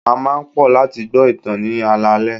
A máa ń pò láti gbo ìtàn ní alaale.